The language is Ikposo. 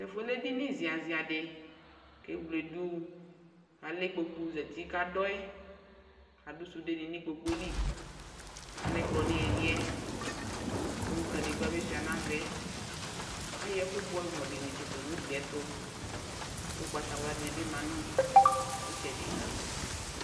tɛƒʋɛ lɛ ɛdini zia zia di kʋ ɛwlɛ dʋ alɛ ikpɔkʋ zati kʋ adɔɛ kʋ adʋ sʋdɛ nibi nʋ ikpɔkʋɛ li ,alɛ ɛkplɔ nʋbiliɛ kʋ kadigba bi sʋa nʋ aɣaɛ, ayɔ ɛkʋ bʋamʋ di ɔsʋa nʋ ʋgliɛ tʋ, lakʋ ɔgbatawla dibi manʋ itsɛdi